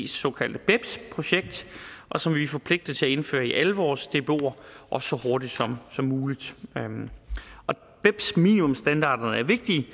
såkaldte beps projekt og som vi er forpligtet til at indføre i alle vores dboer og så hurtigt som som muligt beps minimumsstandarderne er vigtige